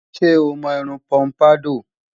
Ṣé o mọ irun pọ́mpádọ̀?